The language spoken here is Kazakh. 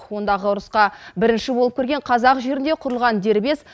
ондағы ұрысқа бірінші болып кірген қазақ жерінде құрылған дербес